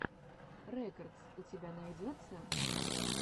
рекодс у тебя найдется